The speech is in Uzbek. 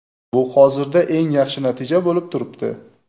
Bu hozirda eng yaxshi natija bo‘lib turibdi.